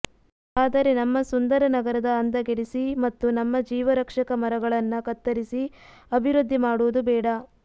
ಆದರೆ ನಮ್ಮ ಸುಂದರ ನಗರದ ಅಂದಗೆಡಿಸಿ ಮತ್ತು ನಮ್ಮ ಜೀವ ರಕ್ಷ್ಷಕ ಮರಗಳನ್ನ ಕತ್ತರಿಸಿ ಅಭಿವೃದ್ಧಿ ಮಾಡುವುದು ಬೇಡ